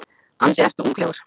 Ansi ertu unglegur.